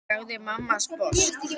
sagði mamma sposk.